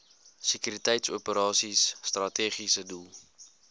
sekuriteitsoperasies strategiese doel